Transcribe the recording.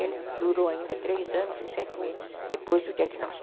Ele durou ainda três anos e sete meses depois do diagnóstico.